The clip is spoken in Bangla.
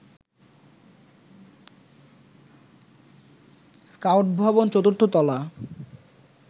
স্কাউট ভবন চতুর্থ তলা